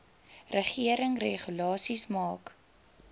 regering regulasies maak